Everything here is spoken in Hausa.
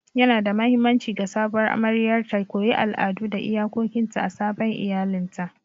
Yanada mahimmanci ga sabuwar amaryar ta koyi al'adu da iyakokinta a sabon iyalinta.